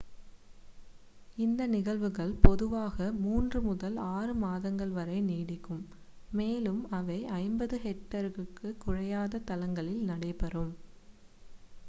இந்த நிகழ்வுகள் பொதுவாக மூன்று முதல் ஆறு மாதங்கள் வரை நீடிக்கும் மேலும் அவை 50 ஹெக்டேருக்குக் குறையாத தளங்களில் நடைபெறும்